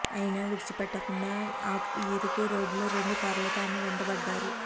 అయినా విడిచిపెట్టకుండా ఆ ఇరుకు రోడ్డులో రెండు కార్లతో ఆమె వెంటపడ్డారు